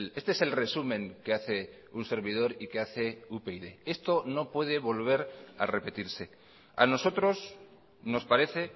este es el resumen que hace un servidor y que hace upyd esto no puede volver a repetirse a nosotros nos parece